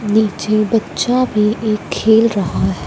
नीचे बच्चा भी एक खेल रहा--